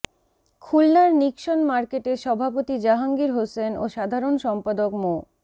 খুলনার নিক্সন মার্কেটের সভাপতি জাহাঙ্গীর হোসেন ও সাধারণ সম্পাদক মো